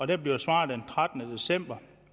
der blev svaret den trettende december